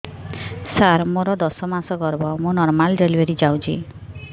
ସାର ମୋର ଦଶ ମାସ ଗର୍ଭ ମୁ ନର୍ମାଲ ଡେଲିଭରୀ ଚାହୁଁଛି